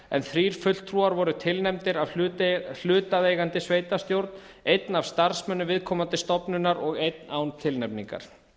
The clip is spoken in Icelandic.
en þrír fulltrúar voru tilnefndir af hlutaðeigandi sveitarstjórn einn af starfsmönnum viðkomandi stofnunar og einn án tilnefningar